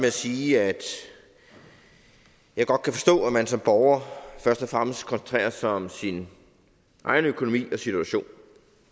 at sige at jeg godt kan forstå at man som borger først og fremmest koncentrerer sig om sin egen økonomi og situation